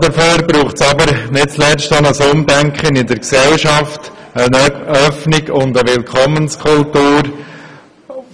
Dafür braucht es jedoch nicht zuletzt ein Umdenken in der Gesellschaft, eine Öffnung und eine Willkommenskultur